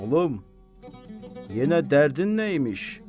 Oğlum, yenə dərdin nəyimiş?